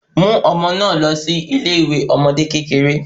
Mú ọmọ na lọ sí ilé ìwé àwọn ọmọdé kékeré